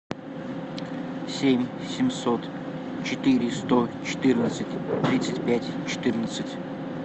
семь семьсот четыре сто четырнадцать тридцать пять четырнадцать